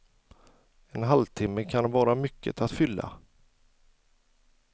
En halvtimme kan vara mycket att fylla.